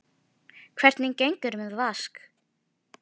Og rétti honum blómin.